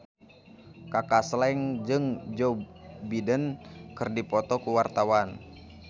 Kaka Slank jeung Joe Biden keur dipoto ku wartawan